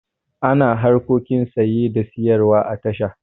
Ana harkokin saye da sayarwa a tasha.